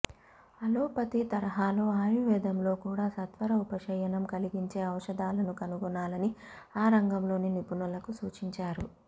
allopathy తరహాలో ఆయుర్వేదంలో కూడా సత్వర ఉపశమనం కలిగించే ఔషధాలను కనుగొనాలని ఆ రంగంలోని నిపుణులకు సూచించారు